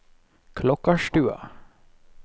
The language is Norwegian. Klokkarstua